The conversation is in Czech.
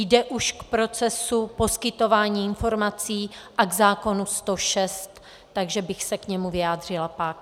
Jde už k procesu poskytování informací a k zákonu 106, takže bych se k němu vyjádřila pak.